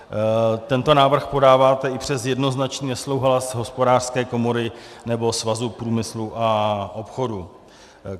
Tento návrh podáváte i přes jednoznačný nesouhlas Hospodářské komory nebo Svazu průmyslu a obchodu.